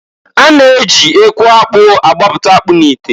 A na- eji eku akpụ agbapụta akpụ n'ite.